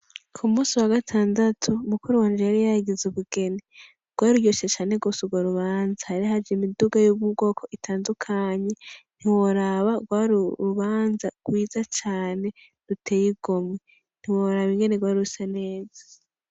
Ku munsi wa gatandatu mukuru wanje yari yagize ubugeni rwari ruryoshe cane gose urwo rubanza hari haje imiduga yo mu bwoko itandukanye ntiworaba gwari urubanza rwiza cane ruteye igomwe ntiworaba ingene rwari rusa neza.